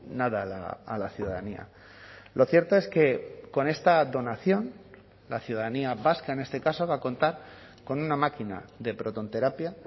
nada a la ciudadanía lo cierto es que con esta donación la ciudadanía vasca en este caso va a contar con una máquina de protonterapia